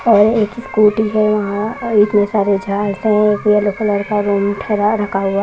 और एक स्कूटी है यहांऔर इतने सारे झाड़ से है येलो कलर का रूम ठहरा ढका हुआ --